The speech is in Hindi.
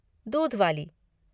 दूध वाली।